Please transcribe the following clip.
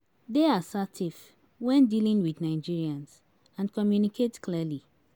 Dey assertive when dealing with Nigerians and communicate clearly